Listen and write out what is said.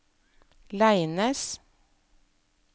Leines